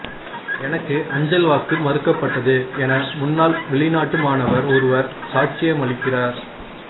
எனக்கு அஞ்சல் வாக்கு மறுக்கப்பட்டது என முன்னாள் வெளிநாட்டு மாணவர் ஒருவர் சாட்சியமளிக்கிறார்